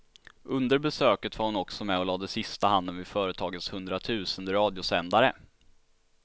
Under besöket var hon också med och lade sista handen vid företagets hundratusende radiosändare.